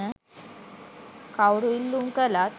කවුරු ඉල්ලූම් කළත්